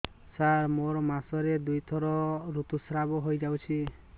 ସାର ମୋର ମାସକରେ ଦୁଇଥର ଋତୁସ୍ରାବ ହୋଇଯାଉଛି